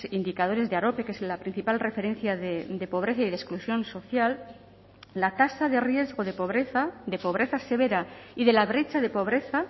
indicadores de arope que es la principal referencia de pobreza y de exclusión social la tasa de riesgo de pobreza de pobreza severa y de la brecha de pobreza